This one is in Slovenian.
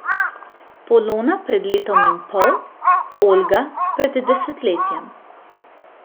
Polona pred letom in pol, Olga pred desetletjem.